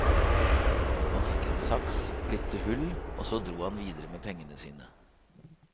Han fikk en saks, klipte hull, og så dro han videre med pengene sine.